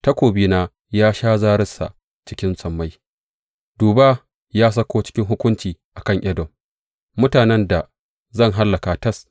Takobina ya sha zararsa a cikin sammai; duba, ya sauko cikin hukunci a kan Edom, mutanen da zan hallaka tas.